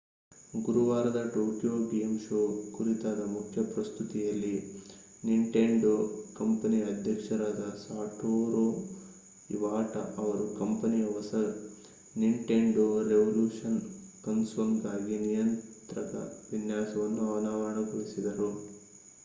ಗುರವಾರದ Tokyo game show ಕುರಿತಾದ ಮುಖ್ಯ ಪ್ರಸ್ತುತಿಯಲ್ಲಿ ನಿಂಟೆಂಡೊ ಕಂಪನಿಯ ಅಧ್ಯಕ್ಷರಾದ ಸಾಟೋರು ಇವಾಟಾ ಅವರು ಕಂಪನಿಯ ಹೊಸ ನಿಂಟೆಂಡೊ ರೆವಲ್ಯೂಷನ್ ಕನ್ಸೋಲ್‌ಗಾಗಿ ನಿಯಂತ್ರಕ ವಿನ್ಯಾಸವನ್ನು ಅನಾವರಣಗೊಳಿಸಿದರು